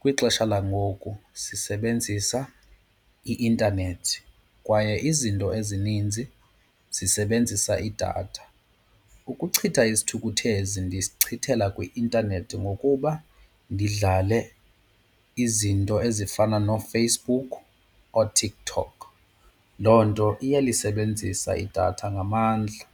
kwixesha langoku sisebenzisa i-intanethi kwaye izinto ezininzi zisebenzisa idatha. Ukuchitha isithukuthezi ndisichithela kwi-intanethi ngokuba ndidlale izinto ezifana noFacebook ooTikTok, loo nto iyalisebenzisa idatha ngamandla.